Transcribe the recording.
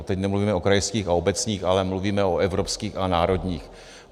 A teď nemluvíme o krajských a obecních, ale mluvíme o evropských a národních.